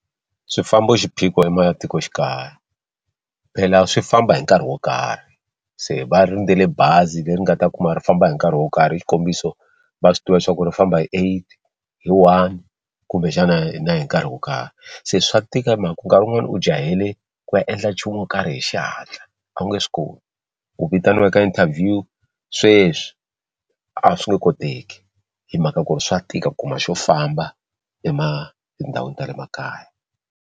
Swifambo i xiphiqo ematikoxikaya phela swi famba hi nkarhi wo karhi se va rindzele bazi leri nga ta kuma ri famba hi nkarhi wo karhi xikombiso va swi tiva leswaku ri famba hi eight hi one kumbexana na hi nkarhi wo karhi se swa tika hi mhaka ku nkarhi wun'wani u jahele ku ya endla nchumu wo karhi hi xihatla a wu nge swi koti u vitaniwaka interview sweswi a swi nge koteki hi mhaka ku ri swa tika ku kuma xo famba ema tindhawini ta le makaya.